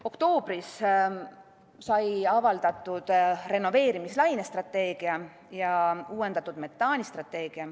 Oktoobris sai avaldatud renoveerimislaine strateegia ja uuendatud metaanistrateegia.